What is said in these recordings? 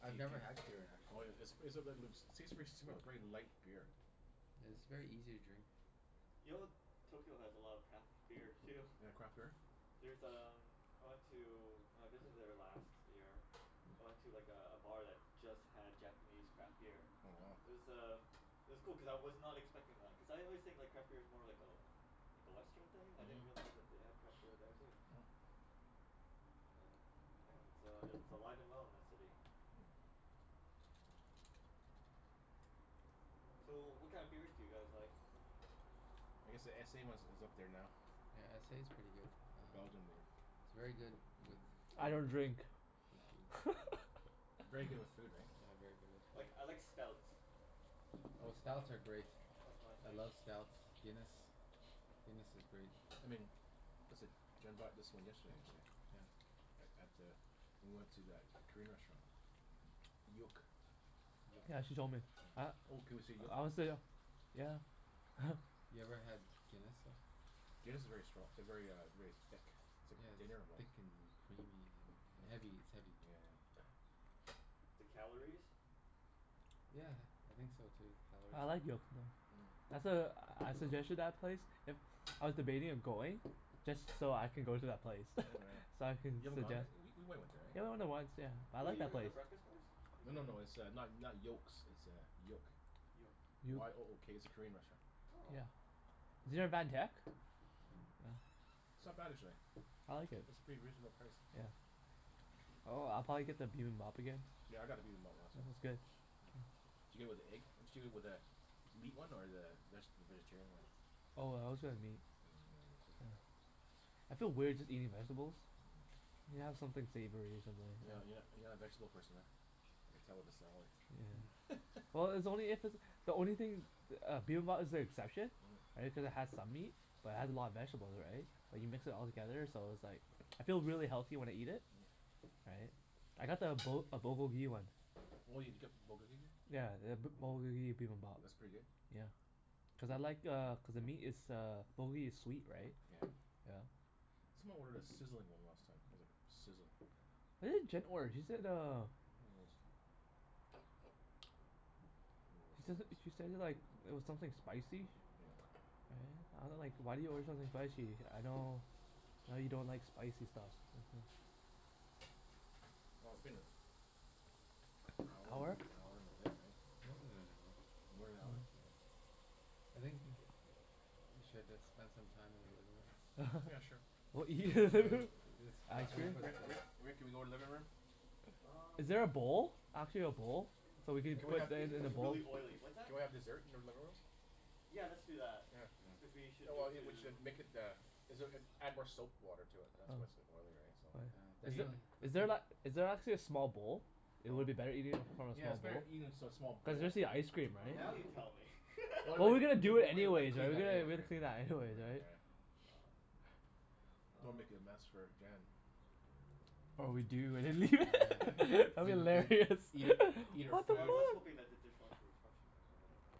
I've never had c- Kirin, Oh actually. yeah, it's seems pretty smooth. Very light beer. Yeah, is very easy to drink. Yo Tokyo has a lot of craft beer too. They got craft beer? There's um, I went to when I visited there last year I went to like a a bar that just had Japanese craft beer. Oh, wow. It was uh, it was cool cuz I was not expecting that. Cuz I always think like craft beer's more like a like a Western thing. I didn't Mhm. realize that they had craft beer there too. Oh. But yeah, it's uh i- it's alive and well in that city. Mm. So, what kind of beers do you guys like? I guess the s a ones is up there now. Yeah, S a's Oh. pretty good. It's a Uh Belgian beer. It's very good with I don't food. drink. With Oh. food. Very good with food, right? Yeah, very good with food. Like, I like stouts. Oh, That's my, stouts are great. that's my I thing. love stouts. Guinness. Guinness is great. I mean This id- Jenn bought this one yesterday actually. Yeah. A- at the we went to that Korean restaurant. Yook. Yook. Yeah, she told me. Yeah. A- Oh, can we say Yook? I wanna say uh Yeah. Oh. You ever had Guinness, though? Guinness if very stro- very uh, very thick. It's Yeah, like dinner it's almost. thick and creamy Mm. and Yeah heavy. It's heavy. yeah yeah. The calories? Yeah, I think so, too. Calories. I like Yook, no. Mm. That's a, I Woah. suggested that place. If I was debating of going just so I can go to that place. Oh yeah. So I can You haven't gone there? suggest W- we went went there, right? Yeah, we went there once, yeah. I Wait, like you're that talking about place. the breakfast place? Like No the no no, it's uh not not Yokes, it's uh, Yook. Yoke. Yook. Y o o k. It's a Korean restaurant. Oh. Yeah. I've Is there a never Van Tech? Oh. It's not bad actually. I like it. It's pretty reasonable priced. Yeah. Oh, I'll probably get the bibimbap again. Yeah, I got the bibimbap last It time. was good. Yeah. Did you get it with the egg? Did you get it with a meat one or the veg- vegetarian one? Oh, I always got a meat. Oh, yeah, did you? Yeah. I feel weird just eating vegetables. Mm. You have Mm. something savory or something. You're not you're not you're not a vegetable person, huh? I could tell with the salad. Mm. Yeah. Well, it's only if it's the only thing the uh, bibimbap is the exception. Mm. Right? Because it has some meat. But it has a lot of vegetables, right? Like, you mix it all together so it's like I feel really healthy when I eat it. Mhm. Right? I got the Bu- a Bulgogi one. Oh, you'd get Yeah, the B- Bulgogi Bibimbap. That's pretty good? Yeah. Cuz I like uh, cuz the meat is uh Bulgogi is sweet, right? Yeah. Yeah. Someone ordered a sizzling one last time. I was like, sizzle. What did Jen order? She said uh I don't know this time. she says it, she said it like it was something spicy? Yeah. Right? I wa- like, why do you order something spicy? I know know you don't like spicy stuff. Mhm. Oh, it's been a hour and Hour? hour and a bit, right? More than an hour. More than an hour? Mm. Yeah. I think we should have spent some time in the living room. Yeah, sure. What, Well w- you let's let's wait Actually for the Rick thing. Rick Rick, can we go to the living room? Um Is there a bowl? Actually a bowl? So we can Can we Everything's, have these are in a just bowl? really oily. What's that? Can we have dessert in your living room? Yeah, let's do that. Yeah. Cuz Yeah. we should Oh well, move it to we should make it the is it uh add more soap water to it, and that's why it's so Oh. oily, right? So Oh yeah. Yeah, Is In th- definitely. is Let's there la- see is there actually a small bowl? It Oh. would be better eating from a Yeah, it's small bowl. better eating a s- small Cuz bowl. especially ice cream, Oh, right? now you tell me. Well we Well, we're gonna do we it we would have anyways, right? cleaned We that gotta anyways, we gotta right? clean that Right, anyways, right? yeah. Yeah. Don't wanna make Um a mess for Jen. Or we do and then Yeah, lea- yeah. that'd be Leave a big hilarious. Eat her eat her What the Well, I fuck? food. was hoping that the dishwasher was functional but I don't know.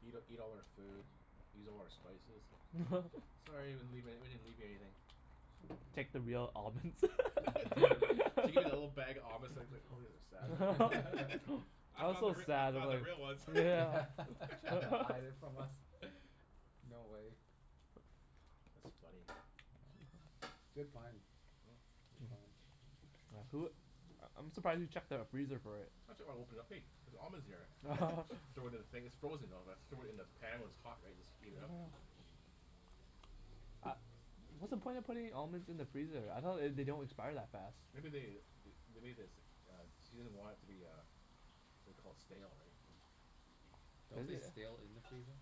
Eat eat all her food. Use all her spices. Sorry, we didn't leave any we didn't leave you anything. Take the real almonds. Yeah right. She gets a little bag of almonds it's like it's like probably has a sad look on I I was found the so r- I sad found about the real ones. Yeah. She had to hide it from us. No way. That's funny. Yeah. Good find. Good find. Yeah, who u- I I'm surprised you checked the freezer for it. I ch- I opened it up. Hey, there's almonds in here. Throw it in the thing it's frozen though, that's throw it in the pan when it's hot, right? Just Oh heat it yeah. up. U- what's the point of putting almonds in the freezer? I thought they d- don't expire that fast. Maybe they th- they made this uh, she doesn't want it to be uh whaddya call it? Stale, right? Don't Don't they they Taste stale in the freezer?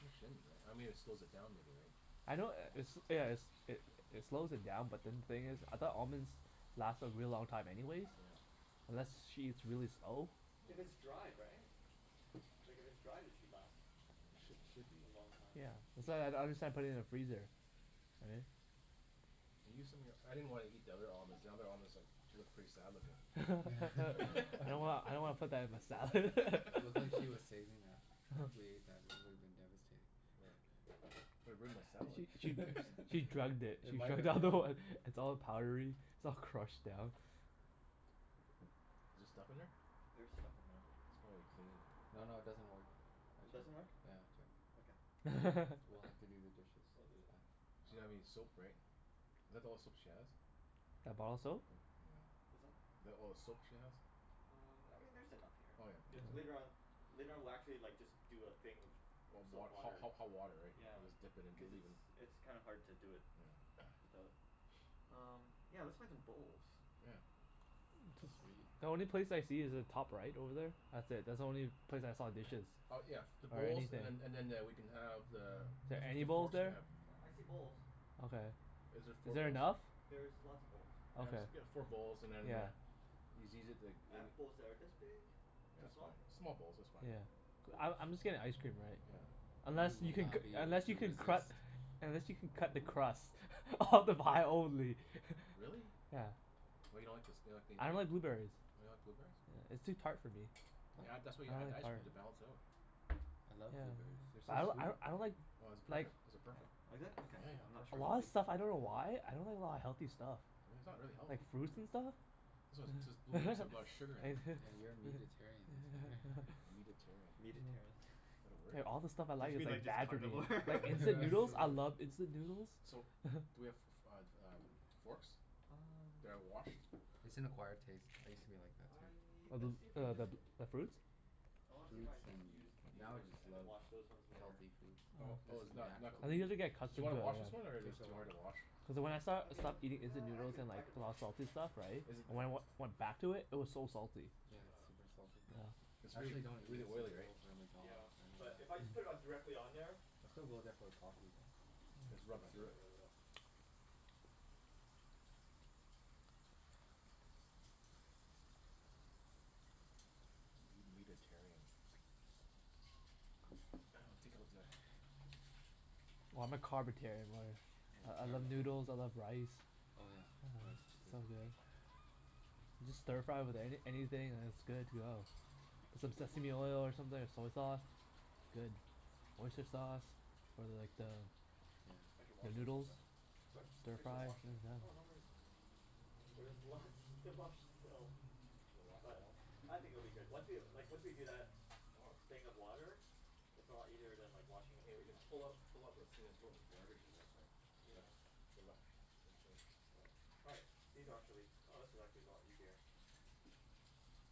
They shouldn't, right? I mean it slows it down maybe, right? I know i- it's yeah it's it it slows it down but then the thing is, I thought almonds lasted a really long time anyways? Yeah. Unless she eats really slow? If it's Mm. dried, right? Like, if it's dried it should last Sh- should be. a long time. Yeah, that's why I I don't understand putting it in the freezer. Right? I used some of your, I didn't wanna eat the other almonds, the other almonds like looked pretty sad looking. I don't wanna, I don't wanna put that in the salad. It looked like she was saving that. If we ate that it would have been devastating. Yeah. It would've ruined my She she salad. she drugged it. It She might drugged have, all the yeah. one. It's all powdery. It's all crushed down. Is there stuff in Hmm, there? there's stuff in there. It's probably clean. No, no it doesn't work. I It checked. doesn't work? Yeah, I checked. Okay. We'll have to do the dishes. We'll do It's it. fine. She doesn't have any Um soap, right? Is that the all the soap she has? That bottle soap? Yeah. What's that? Is that all the soap she has? Um, I mean there's enough here. Oh yeah I- Oh later yeah. on, later on we'll actually like just do a thing of Of wa- soap ho- water. ho- hot water, right? Yeah. We'll just Yeah. dip it in, we'll Cuz leave it's it it's kinda hard to do it Yeah. without. Um, yeah, let's find some bowls. Yeah. Jus- Sweet. the only place I see is the top right over there. That's it. That's the only place I saw dishes. Oh, yeah, the Or bowls anything. and then and then eh- we can have the Is the there f- any the bowls forks we there? have. Yeah, I see bowls. Okay. Is there four Is there bowls? enough? There's lots of bowls. I Okay. guess we got four bowls and then Yeah. uh yous easy it to g- I have bowls that are this big. Yeah, Too that's small? fine. Small bowls. That's fine. Yeah. Small bowls? I I'm just getting ice cream, right? Yeah. Unless You will you can c- not be able unless to you can resist. cru- unless you can cut the crust off the pie only. Really? Yeah. What, you don't like the s- you don't like being I don't like a blueberries. Oh, you don't like blueberries? Yeah, it's too tart for me. You What? add that's why you I don't add the like ice cream, tart. to balance it Oh. out. I love Yeah. blueberries. They're so I d- sweet. I d- I don't like Well this is like perfect. These are Yeah? perfect. Oh, is it? Yeah, Okay. I'm yeah. not For sure a how lot sure. of big y- stuff. I don't know why. I don't like a lot of healthy stuff. Really? It's not really healthy. Like fruits and stuff. blueberries have a lot of sugar in it. Yeah. Yeah, you're a Mhm. meatetarian, that's why. Meatetarian. Meatetarian? Yeah. Is that a word? There, all the stuff I Don't like you is mean like like just bad for me. carnivore? Like It's instant noodles? a I word. love instant noodles. So, do we have f- f- uh, um, forks? Um That are washed? It's an acquired taste. I used to be like that too. I, A let's bl- see if we can uh just the bl- Yeah. the fruits? I wanna see if I Fruits can just use and new now I ones just and then love wash those ones later. healthy foods. Oh This Mm. oh is it's not not natural. I think you clean? have to get Do you accustomed to wanna it, wash this Yeah, Yeah. one yeah. or it's takes a too while. hard to wash? Cuz when I st- I mean stopped eating instant yeah, I noodles could, and I like could a lot of wash them salty stuff, right? Is it When th- I wen- went back to it it was so salty. I just Yeah, gotta it's super salty. Yeah. It's I really actually don't really eat oily, instant right? noodles, or Oh, yeah. McDonald's, or anything But like if I just that. put it on Mhm. directly on there I still go there for a coffee, but It's Mm. rubbed this will through get it. rid of it. Meat meatetarian. I'll take out the Well, I'm a carbetarian, really. I I Yeah. love Carbetarian. noodles. I love rice. Oh yeah, Yeah. rice is good. Sounds good. You just stir-fry with anyth- anything and it's good to go. Some sesame oil or something, or soy sauce. Good. Oyster sauce. Or like the Yeah. Thanks for the washing this stuff, noodles. man. Sorry? Thanks for stir-fry, washing shit it. is done. Oh, no worries. There's lots to wash still. Is there lots to But wash? I think it'll be good. Once we, like once we do that Oh, it's thing of water it's a lot easier than washing it And we can freehand, so pull out pull out those things and throw it in the garbage I guess, right? Yeah. All right, these are actually, oh, this is actually a lot easier.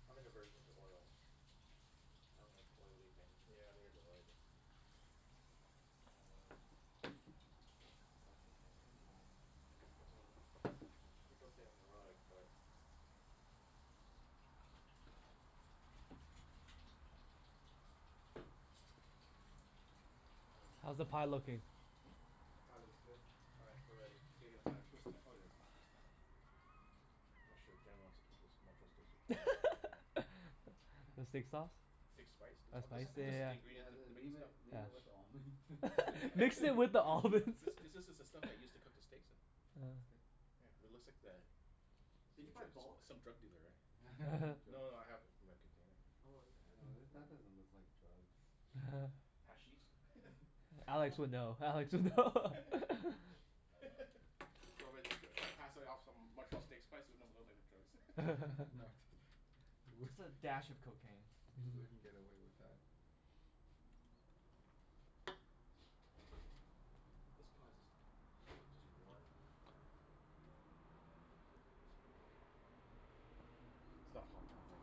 I have an aversion to oil. I don't like oily things. Yeah, neither do I l- Um Happened the I mean people say I'm neurotic but Mm. Holy, How's the pie pie looks good. looking? Hmm? Pie looks good. All right, we're ready. Okay, gotta find a twist ti- oh, there's my twist tie. I'm not sure if Jen wants to keep this Montreal steak sp- you probably wanna take it home. The steak sauce? Steak spice. This Oh, al- this spice? Yeah this is yeah the yeah. Yeah, ingredient l- to make the leave it stuff. leave it with the Yeah. almonds. Mix it with the almonds. This is this is the stuff they use to cook the steaks in Yeah. It's good. Yeah. It looks like the Did you n- buy tr- bulk? s- some drug dealer, eh? No no no, I have it my container. Oh yeah, okay. No, th- Cool. Mm. that doesn't look like drugs. Hashish? Alex would know. I Alex would would know. know. Do you want me t- to try pass like off some Montreal steak spice and make it look like drugs? No t- you w- Just a dash of cocaine. You wouldn't get away with that. This pie's just just warm. It's not hot, I don't think.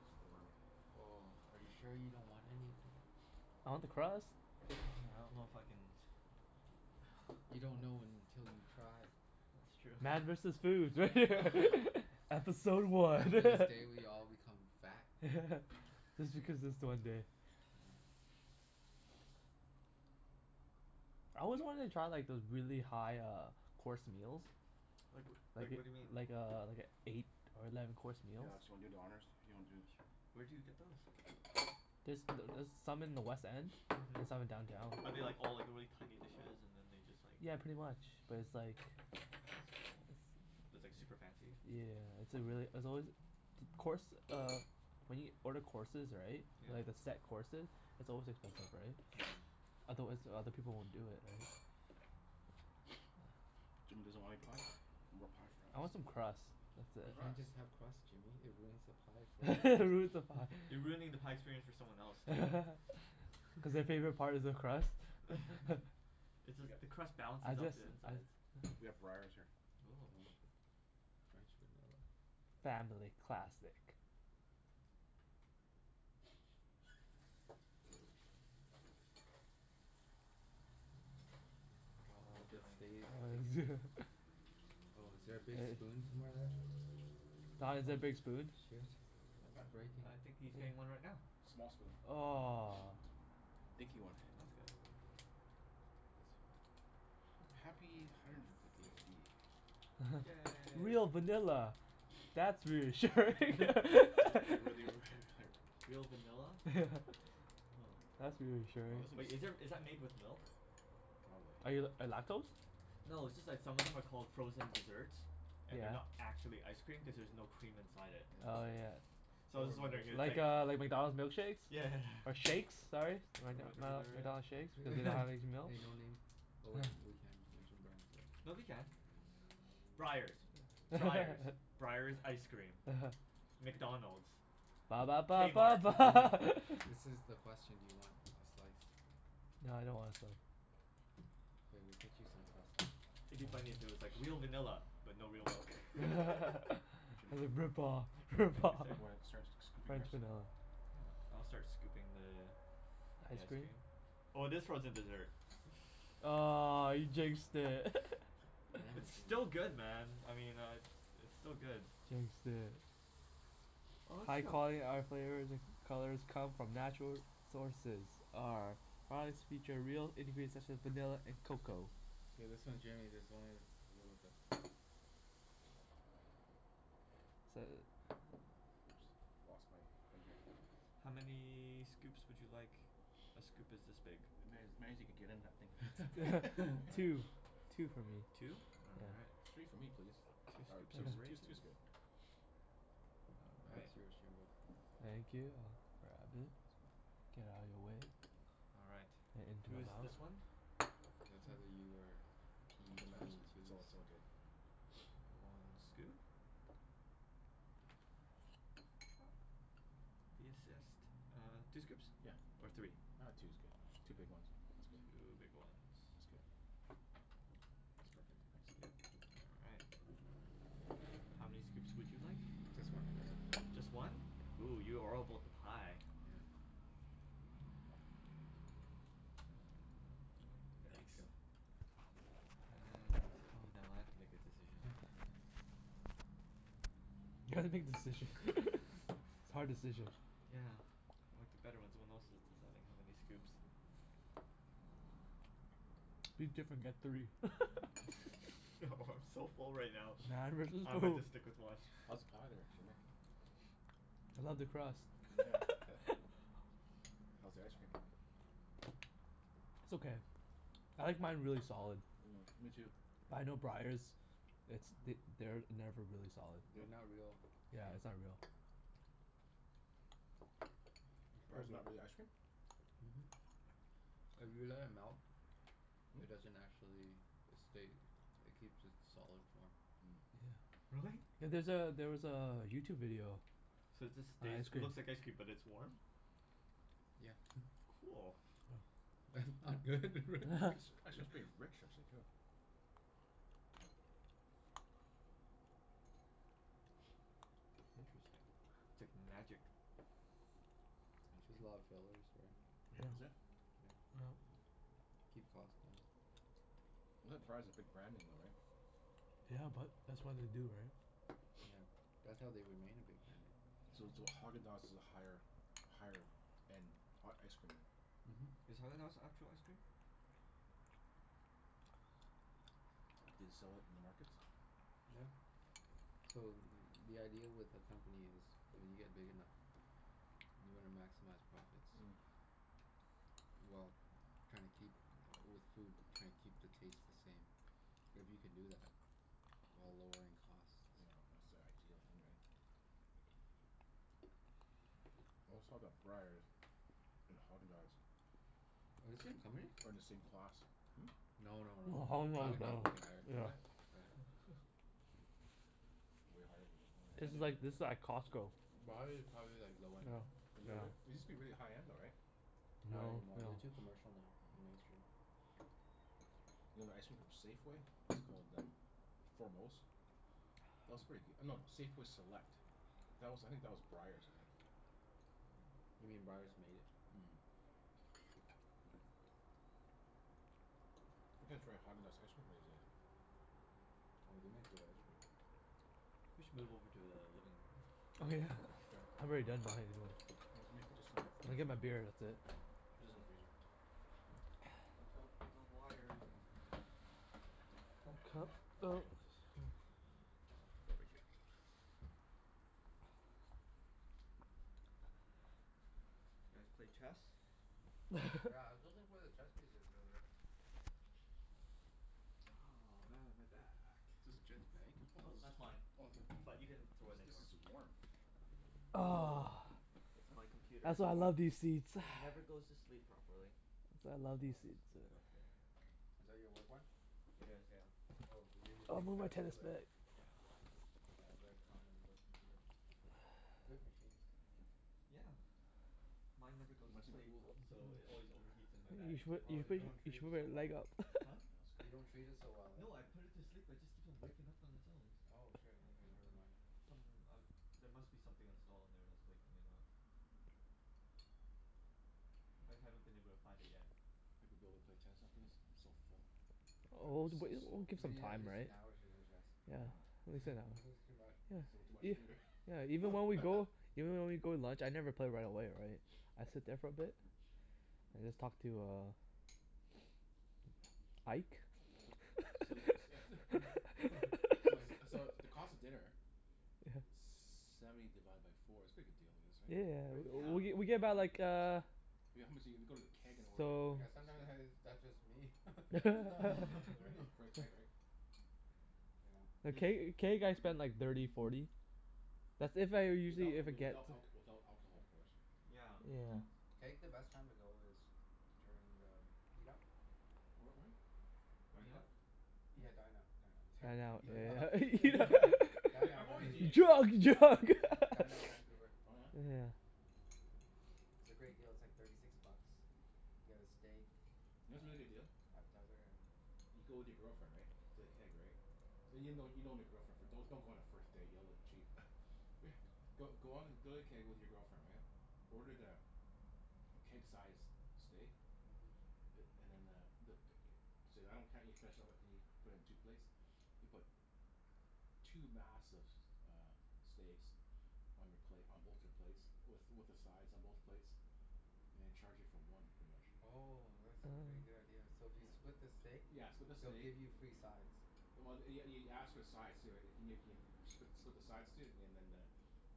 It's warm. Oh, are you sure you don't want any of that? I want the crust. I don't know if I can You don't know until you try. That's true. Man versus food. Yeah. Episode one. After this day we all become fat. Just because it's the one day. Yeah. I Coming always up. wanted to try like those really high uh course meals. Like w- like Like what do you mean? i- like a like i- eight or eleven course Hey meals. Alex, you wanna do the honors? If you wanna do this Sure. Where do you get those? There's th- there's some in the West End. Mhm. There's some in downtown. Are they like all like really tiny dishes and then they just like Yeah, Mm. pretty much but it's like That's cool. it's But it's like super fancy? yeah. It's a really, it's always t- course uh when you order courses, right? Yeah. Like the set courses? It's always expensive, right? Mm. Otherwise other people won't do it, right? Jimmy doesn't want any pie? More pie for I want some us. crust. That's You it. can't just Crust? have crust, Jimmy. It ruins the pie for It everyone ruins the else. pie. You're ruining the pie experience for someone else, Yeah. too. Cuz their favorite part is the crust? It's We got just the crust I balances out just the I insides. We have Breyers here. Oh. Oh. French vanilla. Family classic. I Oh, I'm hope it feeling stays together. Oh, is there a big spoon somewhere there? Don, is Aha. there a big spoon? Shit. It's Huh? breaking. Uh, I think he's getting one right now. Small spoon. Oh. Aw. Dinky one. That's good. That's fine. Yeah, Happy you hundred didn't and have to deal with fifty. it. Yay. Real vanilla. That's reassuring! Is it really were their there? Real vanilla? Yeah. Oh. That's reassuring. Wow, Wait, this is there, thing's is that made with milk? Probably. Are you l- lactose? No, it's just that some of them are called frozen dessert and they're Yeah. not actually ice cream cuz there's no cream inside it. Oh Yeah. yeah. So I was Or just milk. wondering if it's like Like uh like McDonald's milkshakes? Yeah. Or shakes, sorry. Am I d- Or am I whatever al- they're at. McDonald's shakes? Hey no name. Oh wait, we can mention brand names here. No, we can. Yeah. Breyers. Yeah. Yeah. Breyers. Breyers ice cream. uh-huh. McDonald's. Ba ba ba ba K-Mart. ba Hey Jimmy. This is the question. Do you want a slice? Nah, I don't wanna K, we'll cut you some crust then. It'd be funny if it was like, "Real vanilla but no real milk." Jim. It's a rip-off. Thank you, rip-off. sir. You wanna start sc- scooping French yours? vanilla. Yeah. I'll start scooping the the Ice ice cream? cream. Oh, it is frozen dessert. Aw, you jinxed it. Damn it, It's still Jimmy. good, man. I mean I It's still good. Jinxed it. High quality. Our flavors colors come from natural sources. Our products feature real ingredients such as vanilla and cocoa. Okay, this one Jimmy's, this one is a little bit Oops, lost my thing here. How many scoops would you like? A scoop is this big. As many as many as you can get in that All right. thing. Two. Two for me. Two? All right. Yeah. Three for me please. Two All right, scoops two's of two's Yeah. raisins two's good. All That right. is yours, Jimbo. Thank you. I'll grab it. Get outta your way. All right. And into my Who's mouth. this one? That's either Mm. you or p Open mouths, twenty it's two's. all it's all good. One scoop. If you insist. Uh, two scoops Yeah. or three? Ah, two's good. K. Two big ones. That's good. Two big ones. That's good. That's perfect. Yep. Thanks. All right. How many scoops would you like? Just one, please. Just one? Yeah. Ooh, you are all about the pie. Yeah. There we go. And oh, now I have to make a decision. You have to make decision. It's hard decision. Yeah, I liked it better when someone else was deciding how many scoops. Be different. Get three. No, I'm so full right now. Man versus I might foo- just stick with one. How's the pie there, Jimmy? I love the crust. Nyeah. How's the ice cream? It's okay. Mm. I like mine really solid. Mm, me too. But I know Breyers it's th- they're never really solid. They're not No? real Yeah, cream. it's not real. Breyers not really ice cream? Mhm. If you let it Hmm. melt it doesn't actually, Hmm? it stay it keeps its solid Mm. form. Yeah. Really? Yeah, there's a, there was a YouTube video. So it just On stays, ice it cream. looks like ice cream but it's warm? Yeah. Cool. That's not good, real Actually it's pretty rich, actually, too. Interesting. It's like magic. There's a lot of Magic. fillers, right? Yeah. Is it? Yep. Yeah. Keep cost down. I thought Breyers is a big brand name though, right? Yeah, but that's why they do, right? Yeah, that's how they remain a big brand name. So so Häagen-Dazs is a higher higher end ha- ice cream then? Mhm. Is Häagen-Dazs actual ice cream? Do they sell it in the markets? Yeah. So the idea with a company is when you get big enough you wanna maximize profits. Mm. Well, trying to keep, with food, trying to keep the taste the same. If you can do that while lowering costs Yeah, that's the ideal thing, right? Always thought that Breyers and Häagen-Dazs Are the same company? are in the same class. No no no. Oh, no Häagen-Dazs No? is no. way higher. Yeah. Is it? Yeah. Way higher than, oh I This yeah. is didn't like, this know is that like about Costco. Breyers is probably like low Yeah, end. Is it really? It yeah. used to be Yeah. really high-end though, right? Not any No, more. no. They're too commercial now and mainstream. Mm. You know that ice cream from Safeway? What's it called, um Foremost? That was pretty goo- no, Safeway Select. That was I think that was Breyers, I think. You mean Breyers made it? Mhm. I gotta try Häagen-Dazs ice cream one of these days. Oh, they make good ice cream. We should move over to the living room. Oh. Oh yeah. Sure. I've already done mine anyway. Well, let me put this in Let me there get my beer, that's it. Put this in the freezer. Watch out for the l- wires and The Oh cup? towel, Oh. put Mm. it over here. You guys play chess? Yeah, I was looking for the chess pieces earlier. Oh, man, my back. Is this Jen's bag? Woah, Oh, this is that's mine. Oh, is it? But you can throw What it is, this anywhere. is warm? Oh, Ah, it's Huh? my computer. that's why I Oh. love these seats. It never goes to sleep properly. That's why I love So these I'll just seats uh leave it out here. Oh. Is that your work one? It is, yeah. Oh, they give you I'll move my Thinkpads tennis too, eh? bag Yeah. Yeah, very common work computer. Good machines. Yeah. Mine never goes to Nice and sleep cool. so Mhm. it always overheats in my You bag, should put, but you Oh, that's should put, you okay. don't you treat should it put so your well, leg eh? up. Huh? No, it's You don't okay. treat it so well, eh? No, I put it to sleep. It just keeps waking up on its own. Oh, shit. Like, Okay, I never dunno mind. Some, um there must be something installed on there that's waking it up. I haven't been able to find it yet. Think we'll be able to play tennis after this? I'm so full. Probably O- be oh but so th- I- we'll slow. give We some need at time, least an right? hour to digest. Yeah, Mm. at least an This is hour. too much. Oh, it's a little too Yeah, much ev- food, yeah, even when we go eh? even when we go to lunch, I never play right away, right? I sit there for a bit and just talk to Can I uh uh Ike. C- so the c- t- So Ike. it's so the cost of dinner Yeah. Seventy divided by four. It's a pretty good deal I guess, Yeah yeah right? Very yeah. good W- deal. Yeah. w- we get Very buy good Yeah. like de- uh We how much eat if we go to the Keg and order i- So Yeah sometime steak has that's just me. Right? For the Keg, right? Yeah. Th- Does can't y- can't you guys spend like thirty, forty? That's if I owe usually, Without if I w- get without alc- without alcohol Yeah. of course. Yeah, Yeah. that's Keg, the best time to go is during the m- Eat Up. Where at when? Dine Eat Out? up. Hmm? Yeah, Dine out, Dine Out. Sorry. Dine Oh, Out, Dine Eat Up. yeah yeah Out, You yeah. don- right. Dine like, Out "I'm always Vancouver. eating out." Drug! Drug! Mm, Dine Out Vancouver. Oh yeah? Yeah. It's a great deal. It's like thirty six bucks. You get a steak, You know what's a really good deal? uh, appetizer and You go with your girlfriend, right? To the Mm. Keg, right? And you'll know you've known your girlfriend for don- don't go on a first date. You'll look cheap. Go go on th- go to the Keg with your girlfriend, right? Order the keg-sized steak. Mhm. A- and then uh, they'll c- e- Say I don't can't eat finish, and I'm like can ye- put it in two plates? They put two massive s- uh steaks on your plate, on both your plates with with the sides on both plates. And they charge you for one, pretty much. Oh, that's a pretty good Oh. idea. So if you Yeah. split the steak Yeah, split the they'll steak give you free sides. Well th- y- y- you ask for the sides too, right? Can you keen- spli- split the sides too, and and then the